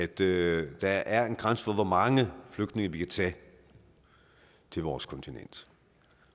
det at der er en grænse for hvor mange flygtninge vi kan tage til vores kontinent